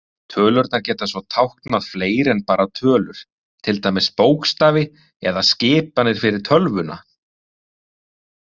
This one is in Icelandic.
Tölurnar geta svo táknað fleira en bara tölur, til dæmis bókstafi eða skipanir fyrir tölvuna.